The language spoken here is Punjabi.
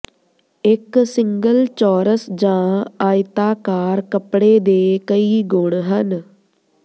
ਇੱਕ ਸਿੰਗਲ ਚੌਰਸ ਜਾਂ ਆਇਤਾਕਾਰ ਕੱਪੜੇ ਦੇ ਕਈ ਗੁਣ ਹਨ